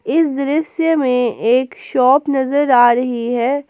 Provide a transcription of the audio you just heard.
इस दृश्य में एक शॉप नजर आ रही है।